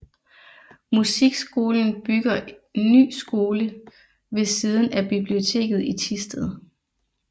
Musikskolen bygger ny skole ved siden af biblioteket i Thisted